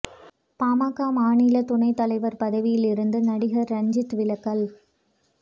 பாமக மாநில துணை தலைவர் பதவியில் இருந்து நடிகர் ரஞ்சித் விலகல்